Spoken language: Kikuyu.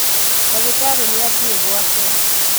Ndagĩtarĩ nĩathiĩ gwake